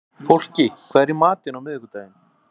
Fólki, hvað er í matinn á miðvikudaginn?